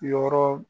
Yɔrɔ